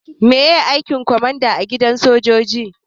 Maye aikin kwamanda a gidan soja?